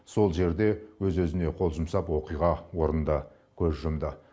сол жерде өз өзіне қол жұмсап оқиға орнында көз жұмды